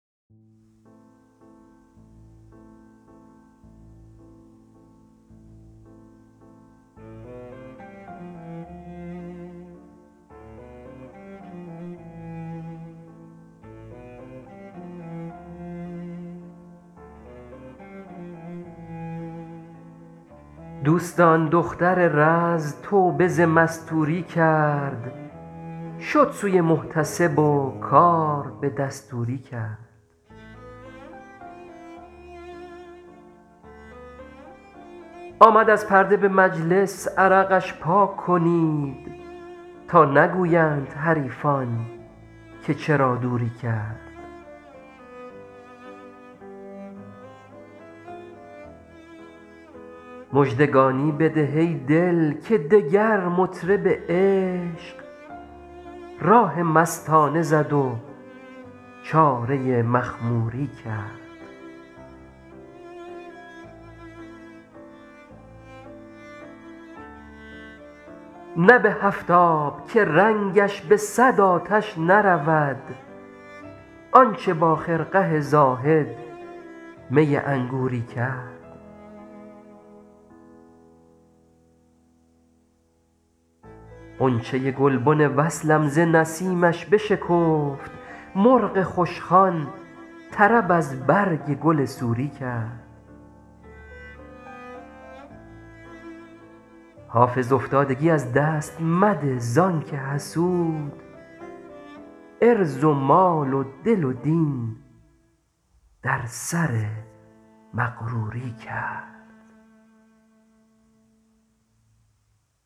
دوستان دختر رز توبه ز مستوری کرد شد سوی محتسب و کار به دستوری کرد آمد از پرده به مجلس عرقش پاک کنید تا نگویند حریفان که چرا دوری کرد مژدگانی بده ای دل که دگر مطرب عشق راه مستانه زد و چاره مخموری کرد نه به هفت آب که رنگش به صد آتش نرود آن چه با خرقه زاهد می انگوری کرد غنچه گلبن وصلم ز نسیمش بشکفت مرغ خوشخوان طرب از برگ گل سوری کرد حافظ افتادگی از دست مده زان که حسود عرض و مال و دل و دین در سر مغروری کرد